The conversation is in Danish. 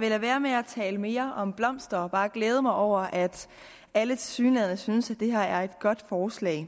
være med at tale mere om blomster og bare glæde mig over at alle tilsyneladende synes at det her er et godt forslag